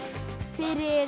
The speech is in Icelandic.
fyrir